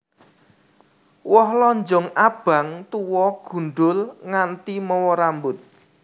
Woh lonjong abang tuwa gundhul nganti mawa rambut